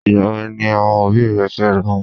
Ìgbà wo ni àwọn òbí rẹ̀ fẹ́rawọn?